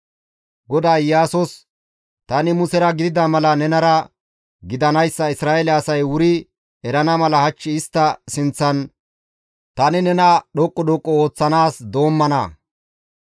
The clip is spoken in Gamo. GODAY Iyaasos, «Tani Musera gidida mala nenara gidanayssa Isra7eele asay wuri erana mala hach istta sinththan tani nena dhoqqu dhoqqu ooththanaas doommana.